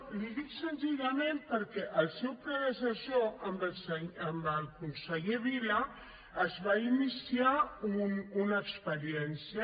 l’hi dic senzillament perquè amb el seu predecessor amb el conseller vila es va iniciar una experiència